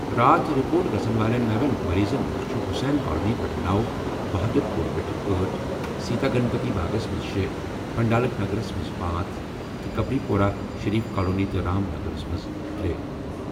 راتھ رپورٹ گژھَن وٲلۍ نَوین مٔریٖضَن منٛز چھِ حسین کالونی پٮ۪ٹھ نو، بہادُر پورہ پٮ۪ٹھٕ آٹھ، سیتارا گنپتی باغَس منٛز شے، پنڈالک نگرَس منٛز پانژھ تہٕ کبری پورہ، شریف کالونی تہٕ رام نگرَس منٛز ترے۔